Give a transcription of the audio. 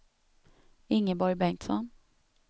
Ingeborg Bengtsson